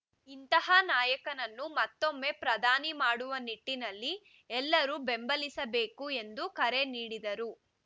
ಇಂತಹ ನಾಯಕನನ್ನು ಮತ್ತೊಮ್ಮೆ ಪ್ರಧಾನಿ ಮಾಡುವ ನಿಟ್ಟಿನಲ್ಲಿ ಎಲ್ಲರೂ ಬೆಂಬಲಿಸಬೇಕು ಎಂದು ಕರೆ ನೀಡಿದರು